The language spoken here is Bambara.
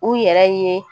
U yɛrɛ ye